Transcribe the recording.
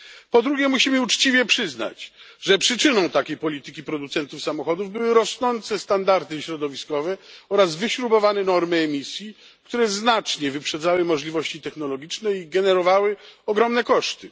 Po drugie, musimy uczciwie przyznać, że przyczyną takiej polityki producentów samochodów były rosnące standardy środowiskowe oraz wyśrubowane normy emisji, które znacznie wyprzedzały możliwości technologiczne i generowały ogromne koszty.